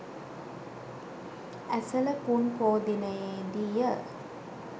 ඇසළ පුන් පෝ දිනයේ දී ය.